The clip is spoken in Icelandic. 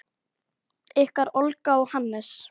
Ykkar Olga og Hannes.